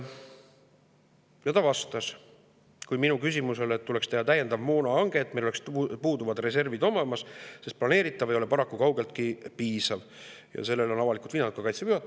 Minu küsimus oli selle kohta, et tuleks teha täiendav moonahange, et meil oleks reservid olemas, sest planeeritav ei ole paraku kaugeltki piisav, ja sellele on avalikult viidanud ka Kaitseväe juhataja.